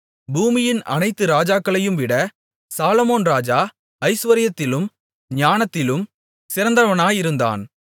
பூமியின் அனைத்து ராஜாக்களையும்விட சாலொமோன் ராஜா ஐசுவரியத்திலும் ஞானத்திலும் சிறந்தவனாயிருந்தான்